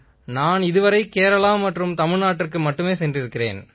நான் கேரளா மற்றும் தமிழ்நாட்டுக்கு மட்டுமே சென்றிருக்கிறேன்